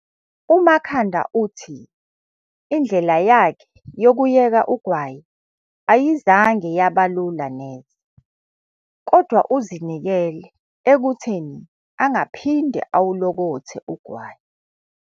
UMakhanda uthi indlela yakhe yokuyeka ugwayi ayizange yaba lula neze, kodwa uzinikele ekutheni angaphinde awulokothe ugwayi.